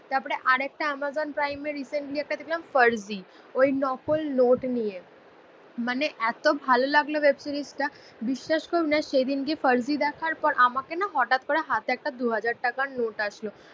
তারপরে আরেকটা আমাজন প্রাইমের রিসেন্টলি একটা দেখলাম ফার্জি. ওই নকল নোট নিয়ে আসলো মানে এত ভালো লাগলো ওয়েব সিরিজটা বিশ্বাস করুন না সেদিনকে ফার্জি দেখার পর আমাকে না হঠাৎ করে হাতে একটা দু হাজার টাকার নোট আসলো.